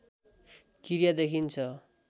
क्रिया देखिन्छ